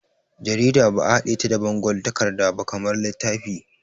Jarida ba'a haɗe ta da bangon takarda ba kamar littafi.